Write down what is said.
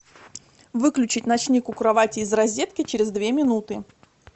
выключить ночник у кровати из розетки через две минуты